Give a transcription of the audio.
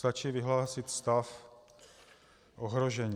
Stačí vyhlásit stav ohrožení.